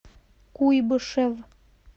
куйбышев